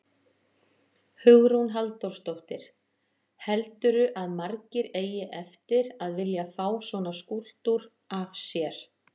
Hugrún Halldórsdóttir: Heldurðu að margir eigi eftir að vilja fá svona skúlptúr af sér?